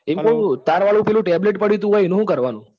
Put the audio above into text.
એમ કૌ તાર વાળુ tablet પડ્યું હતું એનું કાર્રવાનું?